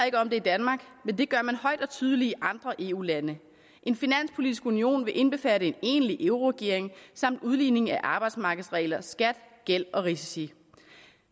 ikke om det i danmark men det gør man højt og tydeligt i andre eu lande en finanspolitisk union vil indbefatte en egentlig euroregering samt udligning af arbejdsmarkedsregler skat gæld og risici